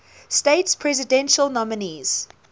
states presidential nominees